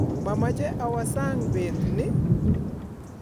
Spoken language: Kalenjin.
Mamache awo sang' bet ni